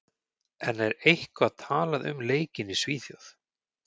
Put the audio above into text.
En er eitthvað talað um leikinn í Svíþjóð?